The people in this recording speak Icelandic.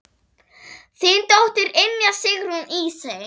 Þín dóttir, Ynja Sigrún Ísey.